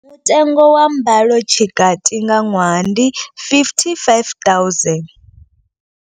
Mutengo wa mbalotshikati nga ṅwaha ndi R55 000.